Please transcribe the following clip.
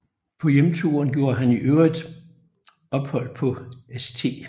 På hjemturen gjorde han i øvrigt ophold på St